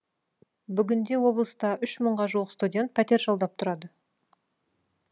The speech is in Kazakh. бүгінде облыста үш мыңға жуық студент пәтер жалдап тұрады